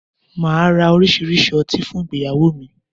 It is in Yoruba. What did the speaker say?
Màá ra oríṣiríṣi ọtí fún ìgbéyàwó mi